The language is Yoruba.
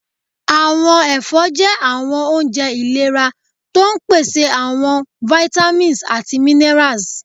Àwọn ẹfọ́ jẹ́ àwọn oúnjẹ iléra, tó ń pèsè àwọn àwọn vitamins àti minerals.